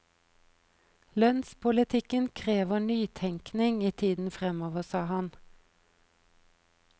Lønnspolitikken krever nytenkning i tiden fremover, sa han.